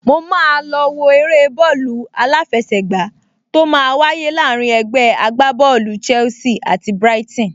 Mo máa lọ wo eré bọ́ọ̀lù aláfẹsẹ̀gbá tó máa wáyé láàrín ẹgbẹ́ agbábọ́ọ̀lù Chelsea àti Brighton